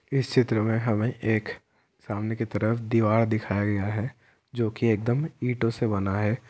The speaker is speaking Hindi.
इस चित्र मे हमें एक सामने की तरफ दीवार दिखाया गया है जो की एकदम ईंटों से बना है।